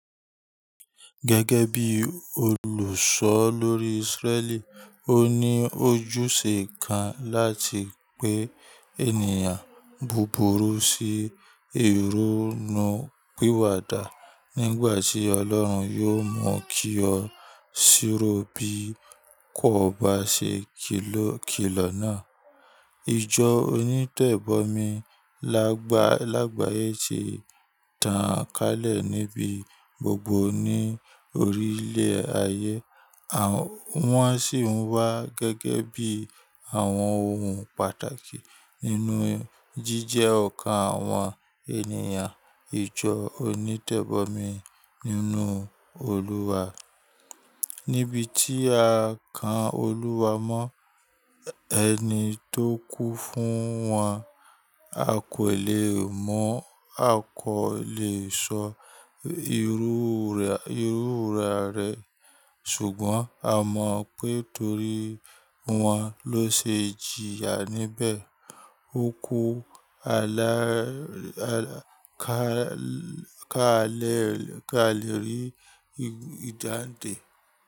Gẹ́gẹ́ bí olùṣọ lórí Israẹli, ó ní ojúṣe kan láti pe ènìyàn búburú sí ìronú pìwàdà nígbà tí Ọlọ́run yóò mú kí ọ síró bí kò bá ṣe kìlọ̀ náà. Ijọ onítẹ̀bọmi lágbàáyé ti tàn kálẹ̀ níbí gbogbo ní orílẹ̀ ayé, wọ́n sì wá gẹ́gẹ́ bí àwọn ohun pàtàkì nínú jíjẹ́ ọkàn àwọn ènìyàn ijọ onítẹ̀bọmi nínú Olúwa. Níbi tí a kàn Olúwa mọ ẹni tó kú fún wọn, a kò lè mọ̀, a kò lè sọ ìrúra rẹ̀, ṣùgbọ́n a mọ̀ pé torí wọn ló ṣe jìyà níbẹ̀, ó kú ká lè rí ìdándè.